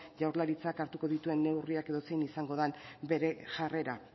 jaurlaritzak hartuko dituen neurria edo zein izango bere jarrera